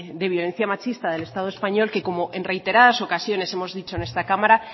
de violencia machista del estado español que como en reiteradas ocasiones hemos dicho en esta cámara